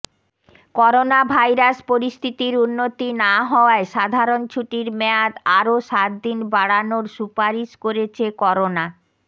coronavirus পরিস্থিতির উন্নতি না হওয়ায় সাধারণ ছুটির মেয়াদ আরও সাত দিন বাড়ানোর সুপারিশ করেছে করোনা